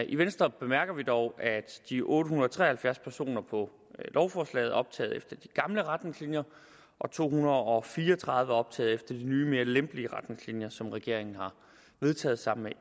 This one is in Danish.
i venstre bemærker vil dog at de otte hundrede og tre og halvfjerds personer på lovforslaget er optaget efter de gamle retningslinjer og to hundrede og fire og tredive er optaget efter de nye mere lempelige retningslinjer som regeringen har vedtaget sammen med